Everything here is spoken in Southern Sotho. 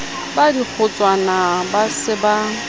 ba dikgotswana ba se ba